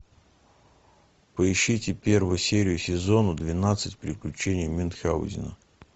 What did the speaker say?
поищите первую серию сезона двенадцать приключения мюнхаузена